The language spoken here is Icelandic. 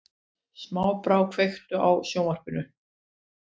Snæbrá, kveiktu á sjónvarpinu.